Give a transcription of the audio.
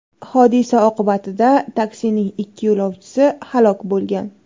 Hodisa oqibatida taksining ikki yo‘lovchisi halok bo‘lgan.